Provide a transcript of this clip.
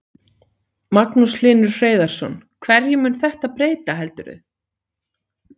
Magnús Hlynur Hreiðarsson: Hverju mun þetta breyta heldurðu?